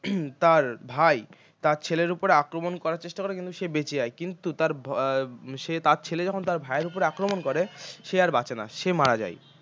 তাঁর ভাই তাঁর ছেলের ওপর আক্রমণ করার চেষ্টা করে কিন্তু সে বেঁচে যায় কিন্তু তাঁর ভয় উম তার ছেলে যখন তাঁর ভাইয়ের উপর আক্রমণ করে সে আর বাঁচে না সে মারা যায়